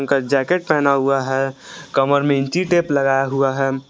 Jacket पहना हुआ है कमर में इंची टेप लगाया हुआ है।